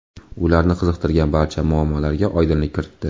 Ularni qiziqtirgan barcha muammolarga oydinlik kiritdi.